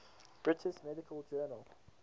british medical journal